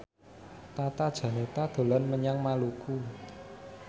Tata Janeta dolan menyang Maluku